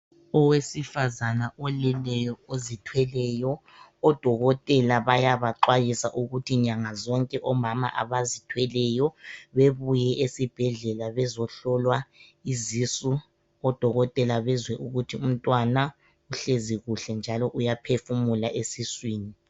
Owesifazane oleleyo ozithweleyo. Odokotela bayabaxwayiswa ukuthi nyanga zonke omama abazithweleyo bebuye esibhedlela bezohlolwa izisu odokotela bezwe ukuthi umntwana uhlezi kuhle njalo uyaphefumula esiswini.